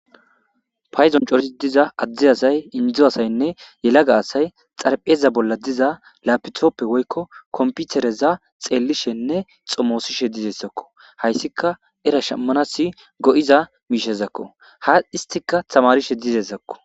Payddon cora diza addi asay indoza asaynne yelaga asay xarpheza bolla diza lapitoppe woykko komputereza xeellishenne xomoosishe dizessakko. Hayssika era shammanasi go'iza miishezakko .Ha isstika tamarishe dizezakko.